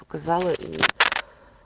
показала и